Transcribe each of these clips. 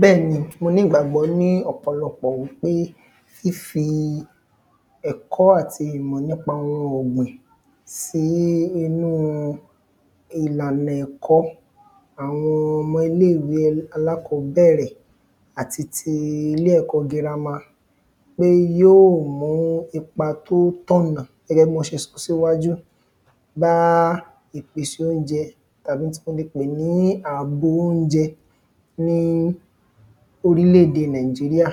bẹ́ẹ̀ ni mo ní igbàgbọ́ ní ọ̀pọ̀lọpọ̀ wípé fífi ẹ̀kọ́ àti ìmọ̀ nípa ohun ọ̀gbìn sí inú ìlànà ẹ̀kọ́ àwọn ọmọ iléèwé alákọ́bẹ̀rẹ̀ àti ti ilé ẹ̀kọ́ girama pé yóò mú ipa tó tọ̀nà gẹ́gẹ́ bí wọ́n ṣe sọ síwájú baa ìpèsè óunjẹ àwọn tí mo le pè ní ààbò óunjẹ ní fún oríledè nàìjíríà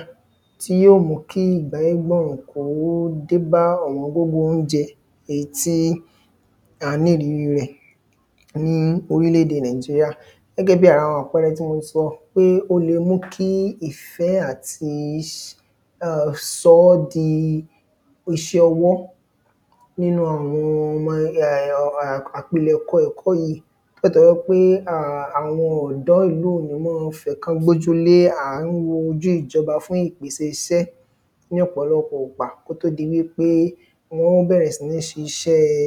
tí yó mu kí igbẹ́ gbọ̀n yàn kò ní dé bá ọ̀wọ́n gógó óunjẹ éyí tí a ní ìrírí rẹ̀ ní oríledè nàìjíríà gẹ́gẹ́ bí ara àwọn àpẹẹerẹ tí mo sọ pé ó le mú kí ìfẹ́ àti sọ́ di uṣẹ́ ọwọ́ nínú àwọn ọmọ apílẹ̀kọ yí nítorí pé àwọn ọ̀dọ́ yí o ní ma fẹ̀kan gbójú lé à ń wojú ìjọba fún ìpèsè isẹ́ ní pọ̀lọpọ gbà kó tó di wípé wọ́n bẹ̀rẹ̀ sí ní ṣiṣẹ́ẹ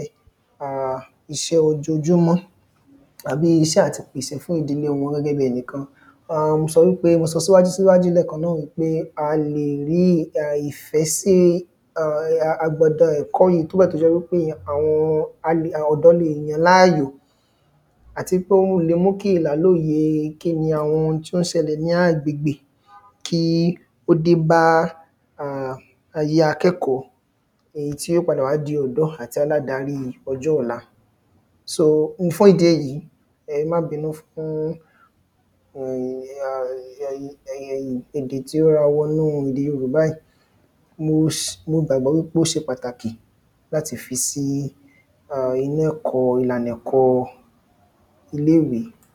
iṣẹ́ ojojúmọ́ àbí iṣẹ́ àti pèsè fún ìdílé wọn gẹ́gẹ́ bí ẹnì kan mo sọ síwájú lẹ́ẹ̀kan náà wípé a lè rí ìfẹ́ sí agbada ẹ̀kọ́ yí nígbà tó jẹ́ wípé ọ̀dọ́ leè yán lááyò áti pé ó le mú ki ìlàlóye kíni àwọn ohun tó ń ṣẹlẹ̀ ní agbègbè kí ó de ba ayé akẹ́kọ̀ọ́ èyí tí ó padà wá di ọ̀dọ́ àti aládarí ọjọ́ ọ̀la fún ìdí èyí ẹ má binú fún èdè tó ra wọnú ède yorùbá yí mo gbàgbọ́ wípé ó ṣe pàtàkì láti fi sí ìlànà ẹ̀kó ilé ìwé